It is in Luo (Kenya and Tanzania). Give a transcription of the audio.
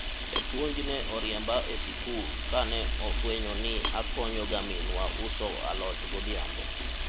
japuonj ne oriemba e sikul kane ofwenyo ni akonyo ga minwa uso alot godhiambo